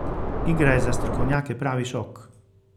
Igra je za strokovnjake pravi šok.